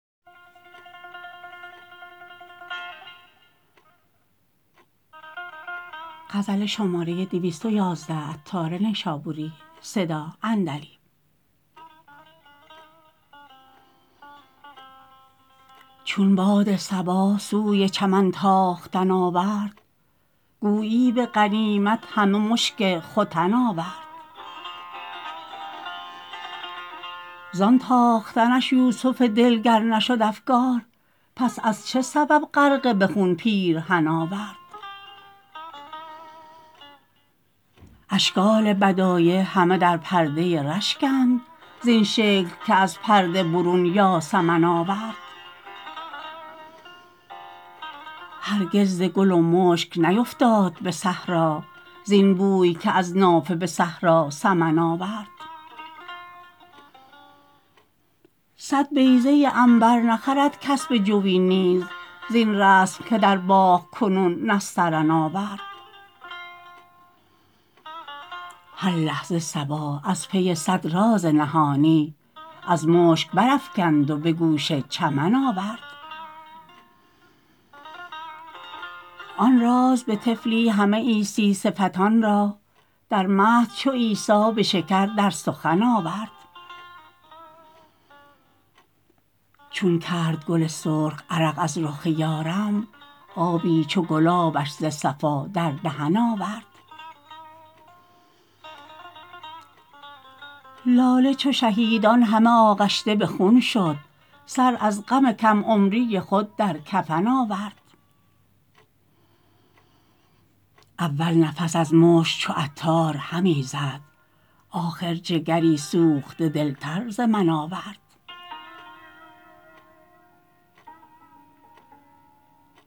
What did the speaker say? چون باد صبا سوی چمن تاختن آورد گویی به غنیمت همه مشک ختن آورد زان تاختنش یوسف دل گر نشد افگار پس از چه سبب غرقه به خون پیرهن آورد اشکال بدایع همه در پرده رشکند زین شکل که از پرده برون یاسمن آورد هرگز ز گل و مشک نیفتاد به صحرا زین بوی که از نافه به صحرا سمن آورد صد بیضه عنبر نخرد کس به جوی نیز زین رسم که در باغ کنون نسترن آورد هر لحظه صبا از پی صد راز نهانی از مشک برافکند و به گوش چمن آورد آن راز به طفلی همه عیسی صفتان را در مهد چو عیسی به شکر در سخن آورد چون کرد گل سرخ عرق از رخ یارم آبی چو گلابش ز صفا در دهن آورد لاله چو شهیدان همه آغشته به خون شد سر از غم کم عمری خود در کفن آورد اول نفس از مشک چو عطار همی زد آخر جگری سوخته دل تر ز من آورد